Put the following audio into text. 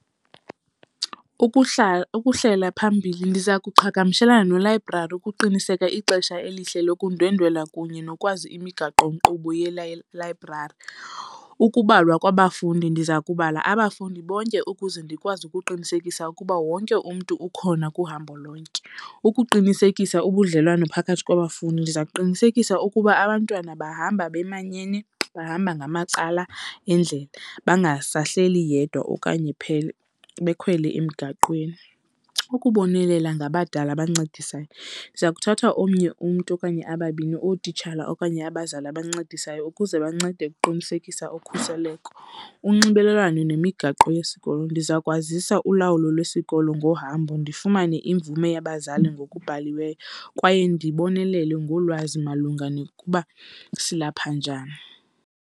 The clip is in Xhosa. Ukuhlela phambili ndiza kuqhagamshelana nelayibrari ukuqiniseka ixesha elihle lokundwendwela kunye nokwazi imigaqonkqubo yelayibrari. Ukubalwa kwabafundi ndiza kubalula abafundi bonke ukuze ndikwazi ukuqinisekisa ukuba wonke umntu ukhona kuhambo lonke. Ukuqinisekisa ubudlelwane phakathi kwabafundi ndiza kuqinisekisa ukuba abantwana bahamba bamanyene bahamba ngamacala endlela bangahlahleli yedwa okanye bekhwele emgaqweni. Ukubonelela gnabadala abancedisayo ndiza kuthatha omnye umntu okanye ababini ootitshala okanye abazali abancedisayo ukuze bancede ukuqinisekisa ukhuseleko. Unxibelelwano nemigaqo yesikolo, ndiza kwazisa ulawulo lwesikolo ngohambo ndifumane imvume yabazali ngokubhaliweyo kwaye ndibonelela ngolwazi malunga nokuba silapha njani.